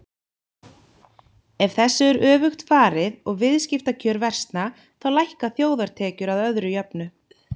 Ef þessu er öfugt farið og viðskiptakjör versna þá lækka þjóðartekjur að öðru jöfnu.